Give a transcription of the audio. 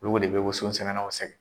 Ulugu de bɛ woson sɛnɛnaw sɛgɛn.